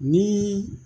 Ni